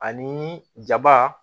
Ani jaba